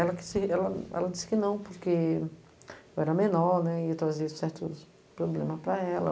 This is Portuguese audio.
Ela ela ela disse que não, porque eu era menor, né e trazia certos problemas para ela.